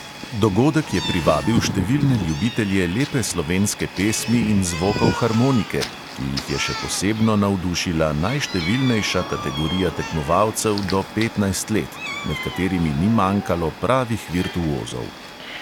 Dogodek je privabil številne ljubitelje lepe slovenske pesmi in zvokov harmonike, ki jih je še posebno navdušila najštevilnejša kategorija tekmovalcev do petnajst let, med katerimi ni manjkalo pravih virtuozov.